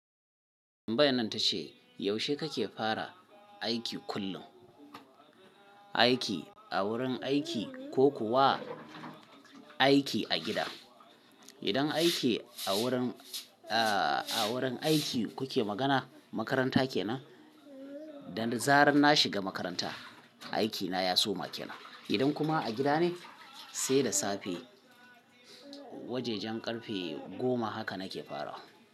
Tambayan ta ce, yaushe kake fara aiki kullum? Aiki a wurin aiki ko kuwa aiki a gida? Idan aiki a wurin, a wurin aiki kuke magana, makaranta kenan? Da zarar na shiga makaranta, aikina ya soma kenan. Idan kuma a gida ne, sai da safe wajejan ƙarfe goma haka nake fara.